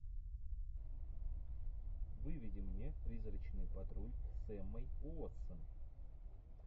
выведи мне призрачный патруль с эммой уотсон